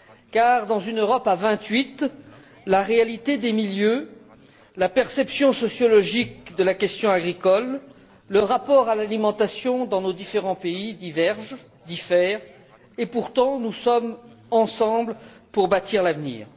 Car dans une Europe à vingt huit, la réalité des milieux, la perception sociologique de la question agricole, le rapport à l'alimentation dans nos différents pays diffèrent et, pourtant, nous sommes ensemble pour bâtir l'avenir.